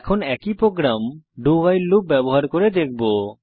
এখন আমরা একই প্রোগ্রাম dowhile লুপ ব্যবহার করে দেখব